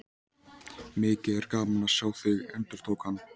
Mikið er gaman að sjá þig, endurtók hann.